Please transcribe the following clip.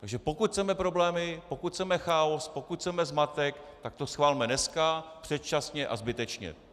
Takže pokud chceme problémy, pokud chceme chaos, pokud chceme zmatek, tak to schvalme dneska, předčasně a zbytečně.